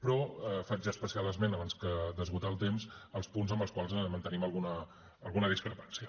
però faig especial esment abans d’esgotar el temps als punts amb els quals mantenim alguna discrepància